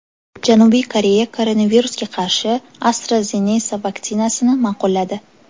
Janubiy Koreya koronavirusga qarshi AstraZeneca vaksinasini ma’qulladi.